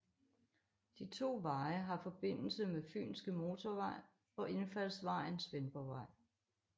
De to veje har forbindelse med Fynske Motorvej og indfaldsvejen Svendborgvej